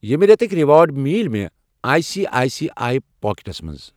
ییٚمہِ رٮ۪تٕکۍ کۭتیاہ ریوارڑ مِلے مےٚ I C I C I packets منٛز؟